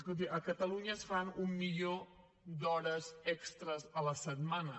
escolti a catalunya es fan un milió d’hores extres a la setmana